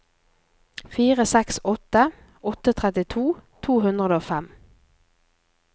fire seks åtte åtte trettito to hundre og fem